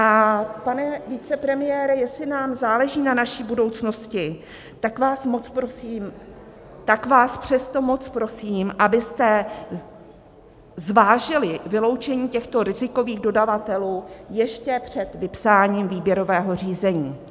A pane vicepremiére, jestli nám záleží na naší budoucnosti, tak vás moc prosím, tak vás přesto moc prosím, abyste zvážili vyloučení těchto rizikových dodavatelů ještě před vypsáním výběrového řízení.